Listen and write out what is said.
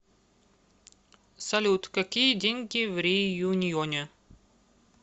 салют какие деньги в реюньоне